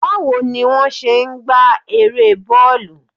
Bawo ni won se n gba ere bọọlu?